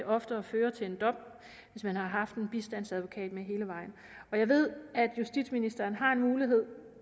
oftere fører til en dom hvis man har haft en bistandsadvokat med hele vejen og jeg ved at justitsministeren har en mulighed